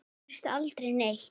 Þar gerist aldrei neitt.